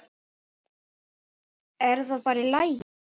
Er það bara í lagi?